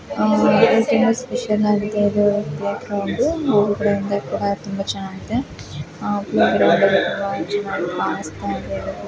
ತುಂಬಾ ಸ್ಪೆಷಲ್ ಆಗಿದೆ playground playground ತುಂಬಾ ಚೆನ್ನಾಗಿ ಕಾಣಿಸ್ತಾ ಇದೆ